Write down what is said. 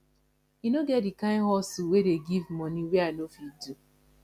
e no get di kain hustle wey dey give moni wey i no fit do